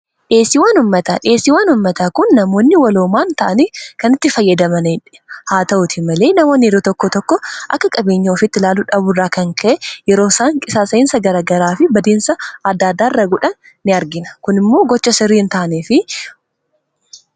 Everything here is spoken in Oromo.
dhsta dheesii wanummataa kun namoonni waloomaan ta'anii kanitti fayyadamaniedh haa ta'uti malee namaoniri tokko tokko akka qabeenya ofitti ilaaluu dhabuurraa kan ka'e yeroo isaan qisaasayinsa garagaraa fi badeensa aada addaa arra gudha in argina kun immoo gocha siriihin ta'anii fi